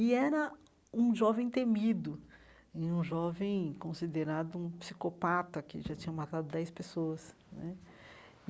E era um jovem temido né, um jovem considerado um psicopata, que já tinha matado dez pessoas né.